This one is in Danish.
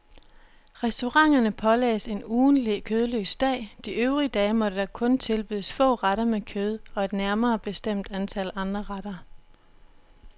Restauranterne pålagdes en ugentlig kødløs dag, de øvrige dage måtte der kun tilbydes få retter med kød, og et nærmere bestemt antal andre retter.